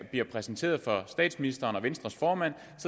bliver præsenteret for statsministeren og venstres formand